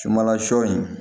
Sumanla sɔ in